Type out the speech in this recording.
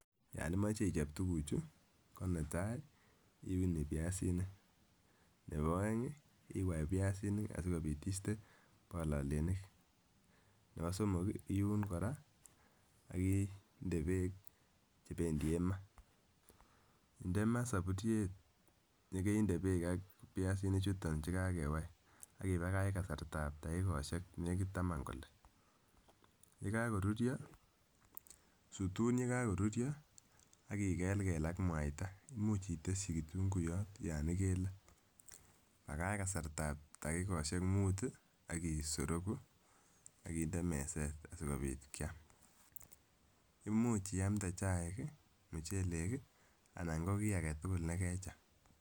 Yan imache ichop tuguchu ko netai iuni piasinik. Nebo aeng ii iwai piasik sigopit iiste palolenik. Nebo somok iun kora ak inde beek chependien ma. Ndema sapuriet negeinde beek ak piasinichuto che kakewai ak ibagach kasartab tagigosiek negit taman kole. Ye kagorurwo. Sutun yekagorurwo ak igelgel ak mwaita, imuch itesyi kutunguyot yon igele. Bagach kasartab takigosiek mut agisorogu ak inde meset asigopit kiam. Imuch iamnde chaik ii, mucheleg ii anan ngo kiagetugul negecham.